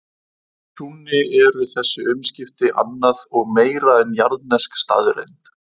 Trúnni eru þessi umskipti annað og meira en jarðnesk staðreynd.